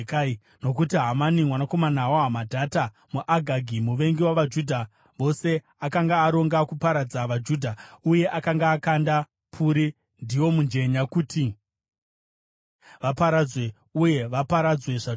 Nokuti Hamani mwanakomana waHamedhata, muAgagi, muvengi wavaJudha vose, akanga aronga kuparadza vaJudha uye akanga akanda puri, ndiwo mujenya, kuti vaparadzwe uye vaparadzwe zvachose.